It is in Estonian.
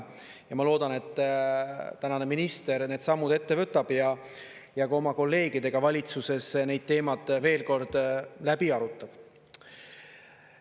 Ja ma loodan, et tänane minister need sammud ette võtab ja ka oma kolleegidega valitsuses neid teemat veel kord läbi arutab.